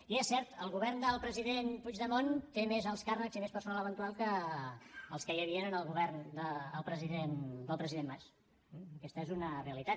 i és cert el govern del president puigdemont té més alts càrrecs i més personal eventual que els que hi havien en el govern del president mas aquesta és una realitat